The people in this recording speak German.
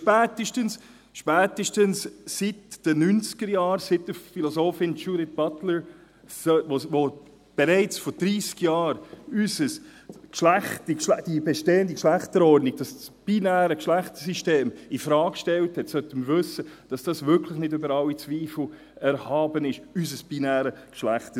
Denn spätestens seit den 1990er-Jahren, seit der Philosophin Judith Butler, die bereits vor dreissig Jahren die bestehende Geschlechterordnung, das binäre Geschlechtersystem, infrage stellte, sollten wir wissen, dass unser binäres Geschlechtersystem wirklich nicht über alle Zweifel erhaben ist.